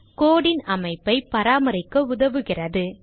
code ன் அமைப்பை பராமரிக்க உதவுகிறது